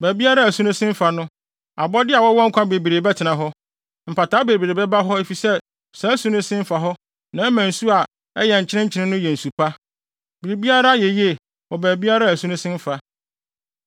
Baabiara a asu no sen fa no, abɔde a wɔwɔ nkwa bebree bɛtena hɔ. Mpataa bebree bɛba hɔ efisɛ saa asu no sen fa hɔ na ɛma nsu a ɛyɛ nkyenenkyene no yɛ nsu pa; biribiara yɛ yiye wɔ baabiara a asu no sen fa.